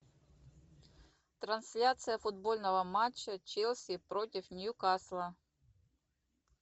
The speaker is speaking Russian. трансляция футбольного матча челси против ньюкасла